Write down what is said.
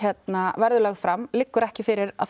verður lögð fram liggur ekki fyrir að